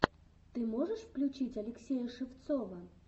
ты можешь включить алексея шевцова